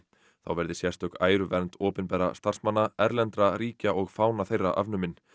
þá verði sérstök æruvernd opinberra starfsmanna erlendra ríkja og fána þeirra afnumin